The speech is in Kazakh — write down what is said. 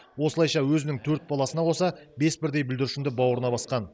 осылайша өзінің төрт баласымен қоса бес бірдей бүлдіршінді бауырына басқан